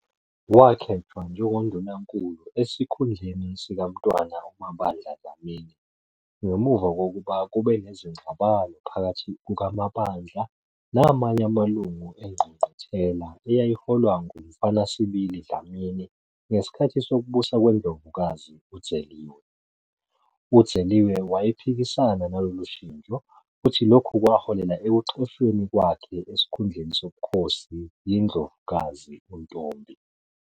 Wakhethwa njengoNdunankulu esikhundleni sikaMntwana uMabandla Dlamini ngemuva kokuba kube nezingxabano phakathi kukaMabandla namanye amalungu engqungquthela eyayiholwa nguMfanasibili Dlamini ngesikhathi sokubusa kweNdlovukazi u-Dzeliwe. U-Dzeliwe wayephikisana nalolu shintsho futhi lokhu kwaholela ekuxoshweni kwakhe esikhundleni sobukhosi yiNdlovukazi uNtombi.